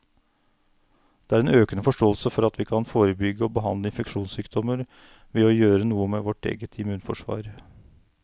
Det er en økende forståelse for at vi kan forebygge og behandle infeksjonssykdommer ved å gjøre noe med vårt eget immunforsvar.